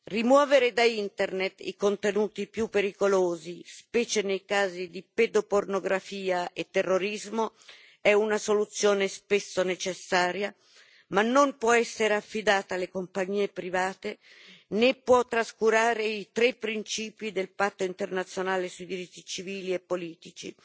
Rimuovere da Internet i contenuti più pericolosi, specie nei casi di pedopornografia e terrorismo, è una soluzione spesso necessaria, ma non può essere affidata alle compagnie private, né può trascurare i tre principi del Patto internazionale sui diritti civili e politici